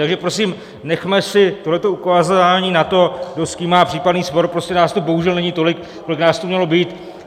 Takže prosím, nechme si tohle ukazování na to, kdo s kým má případný spor, prostě nás tu bohužel není tolik, kolik nás tu mělo být.